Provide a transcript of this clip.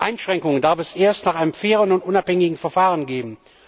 Einschränkungen darf es erst nach einem fairen und unabhängigen Verfahren geben.